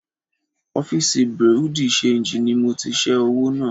Ọ́fìsì Bùréú dì ṣenjì ni mo ti ṣẹ́ owó náà